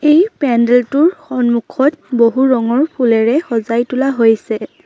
এই পেণ্ডেলটোৰ সন্মুখত বহু ৰঙৰ ফুলেৰে সজাই তোলা হৈছে।